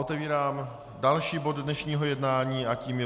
Otevírám další bod dnešního jednání a tím je